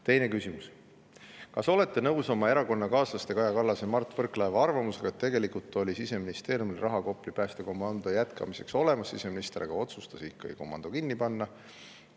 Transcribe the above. Teine küsimus: "Kas olete nõus oma erakonnakaaslaste Kaja Kallase ja Mart Võrklaeva arvamusega, et tegelikult oli Siseministeeriumil raha Kopli päästekomando jätkamiseks olemas, siseminister aga otsustas ikkagi komando kinni panna?